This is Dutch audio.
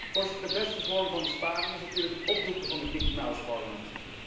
Voorzitter, de beste vorm van besparing is natuurlijk het opdoeken van dit Mickey Mouse Parlement.